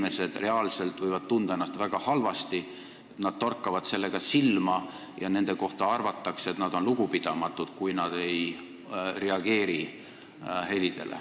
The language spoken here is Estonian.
Need inimesed võivad ennast reaalselt väga halvasti tunda: nad torkavad silma ja nende kohta arvatakse, et nad on lugupidamatud, kui nad helidele ei reageeri.